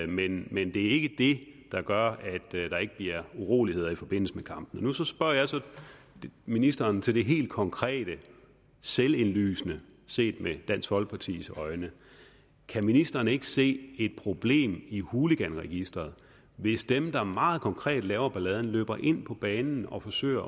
men men det er ikke det der gør at der ikke bliver uroligheder i forbindelse med kampene så spørger jeg som ministeren til det helt konkrete selvindlysende set med dansk folkepartis øjne kan ministeren ikke se et problem i hooliganregisteret hvis dem der meget konkret laver balladen løber ind på banen og forsøger